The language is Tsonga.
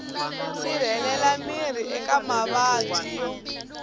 sirhelela miri eka mavabyi yo